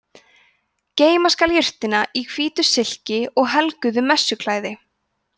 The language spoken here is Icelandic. geyma skal jurtina í hvítu silki og helguðu messuklæði